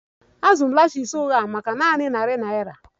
Azụrụ m lashes ụgha maka nanị narị naira